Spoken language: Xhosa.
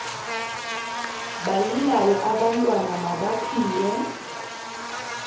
balilayo abantwana mabaphiwe